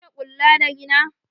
Kin iya ƙulla da rina?